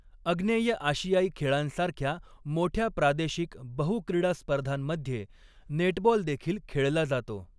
आग्नेय आशियाई खेळांसारख्या मोठ्या प्रादेशिक बहु क्रीडा स्पर्धांमध्ये नेटबॉल देखील खेळला जातो.